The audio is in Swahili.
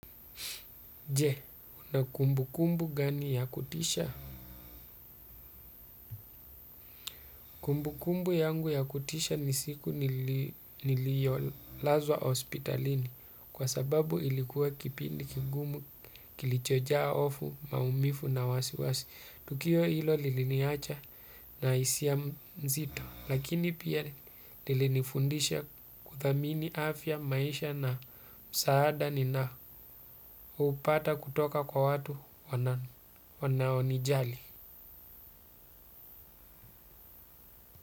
Je, una kumbukumbu gani ya kutisha? Kumbukumbu yangu ya kutisha ni siku niliyo lazwa hospitalini kwa sababu ilikuwa kipindi kigumu kilichoja hofu, maumivu na wasiwasi. Tukio hilo lili niacha na hisia mzito. Lakini pia lili nifundisha kuthamini afya maisha na msaada ni na upata kutoka kwa watu wanaonijali.